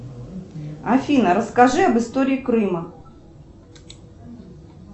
афина расскажи об истории крыма